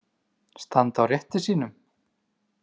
Standa á rétti sínum?